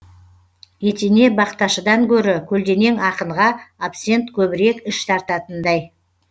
етене бақташыдан гөрі көлденең ақынға абсент көбірек іш тартатындай